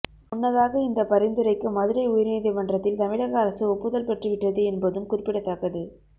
முன்னதாக இந்த பரிந்துரைக்கு மதுரை உயர்நீதிமன்றத்தில் தமிழக அரசு ஒப்புதல் பெற்று விட்டது என்பதும் குறிப்பிடத்தக்கது